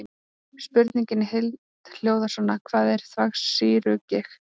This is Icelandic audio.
Spurningin í heild hljóðar svona: Hvað er þvagsýrugigt?